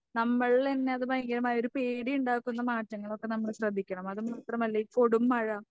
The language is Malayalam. നമ്മളിലന്നെ അത് ഭയങ്കരമായൊരു പേടി ഉണ്ടാക്കുന്ന മാറ്റങ്ങളൊക്കെ നമ്മള് ശ്രദ്ധിക്കണം അത് മാത്രമല്ല ഈ കൊടും മഴ